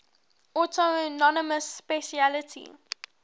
autonomous specialty